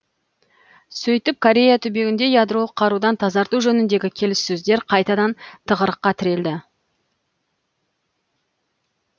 сөйтіп корея түбегінде ядролық қарудан тазарту жөніндегі келіссөздер қайтадан тығырыққа тірелді